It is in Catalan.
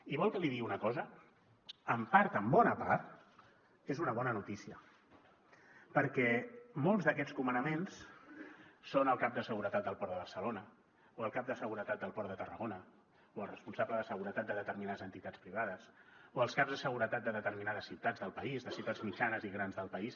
i vol que li digui una cosa en part en bona part és una bona notícia perquè molts d’aquests comandaments són el cap de seguretat del port de barcelona o el cap de seguretat del port de tarragona o el responsable de seguretat de determinades entitats privades o els caps de seguretat de determinades ciutats del país de ciutats mitjanes i grans del país